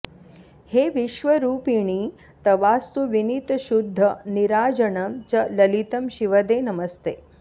हे विश्वरूपिणि तवास्तु विनीतशुद्ध नीराजनं च ललितं शिवदे नमस्ते